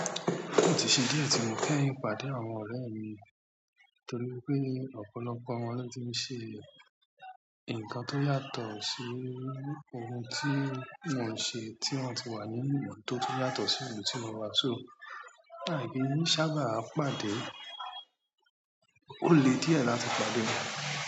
Kò ì tí se dí ẹ̀ tí mo kẹ́yìń pàdé àwọn ọ̀rẹ́ mi torí wipé ọ̀pọ̀lọpọ̀ wọn ló ti ń ṣe ǹkan tó yàtọ̀ sí ohun tí mò ń ṣe, tí wọ́n ti wà nínú ìhùn tó ti yàtọ̀ sí ohun tí mo wà. So, láìpẹ́, sábà máa n pàdé. O le di e láti pàdé won.